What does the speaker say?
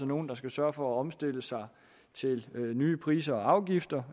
nogle der skal sørge for at omstille sig til nye priser og afgifter